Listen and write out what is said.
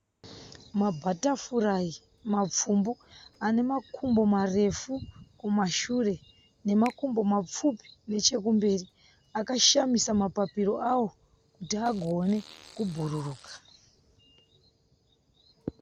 Mabhatafurayi mapfumbu ane makumbo marefu kumashure nemakumbo mapfupi nechemberi. Akashamisa mapapiro awo kuti agone kubhururuka.